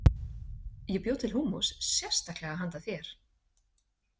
Ég bjó til húmmus sérstaklega handa þér.